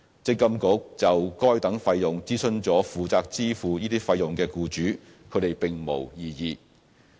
積金局就該等收費諮詢了負責支付這些費用的僱主，他們並無異議。